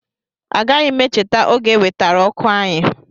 Agaghị m echeta oge e wetara ọkụ anyị